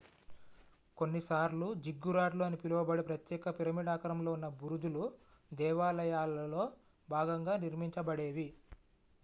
కొన్నిసార్లు జిగ్గురాట్లు అని పిలువబడే ప్రత్యేక పిరమిడ్ ఆకారంలో ఉన్న బురుజులు దేవాలయాలలో భాగంగా నిర్మించబడేవి